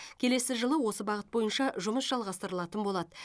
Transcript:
келесі жылы осы бағыт бойынша жұмыс жалғастырылатын болады